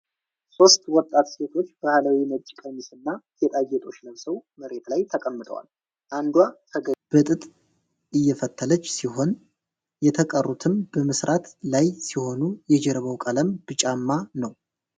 ሦስት ወጣት ሴቶች ባህላዊ ነጭ ቀሚስና ጌጣጌጦች ለብሰው መሬት ላይ ተቀምጠዋል። አንዷ ፈገግ ብላ በጥጥ እየፈተለች ሲሆን፣ የተቀሩትም በመሥራት ላይ ሲሆኑ የጀርባው ቀለም ብጫማ ነው።